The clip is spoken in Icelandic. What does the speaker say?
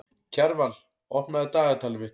Kjarval, opnaðu dagatalið mitt.